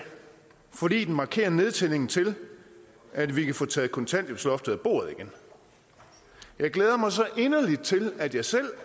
fordi den markerer nedtællingen til at vi kan få taget kontanthjælpsloftet af bordet igen jeg glæder mig så inderligt til at jeg selv